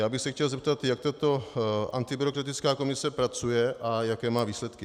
Já bych se chtěl zeptat, jak tato antibyrokratická komise pracuje a jaké má výsledky.